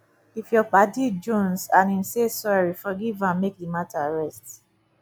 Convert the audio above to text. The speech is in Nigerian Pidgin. if yur paddy jonze and em say sorry forgiv am mek di mata rest